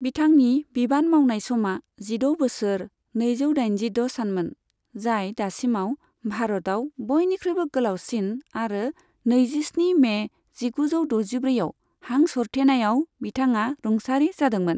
बिथांनि बिबान मावनाय समा जिद' बोसोर, नैजौ दाइनजिद' सानमोन, जाय दासिमाव भारतआव बयनिख्रुइबो गोलावसिन आरो नैजिस्नि मे जिगुजौ द'जिब्रैआव हां सरथेनायाव बिथाङा रुंसारि जादोंमोन।